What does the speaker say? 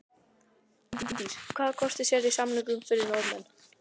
Bryndís: Hvaða kosti sérðu í samningunum fyrir Norðmenn?